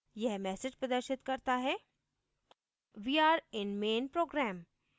यह message प्रदर्शित करता हैः we are in main program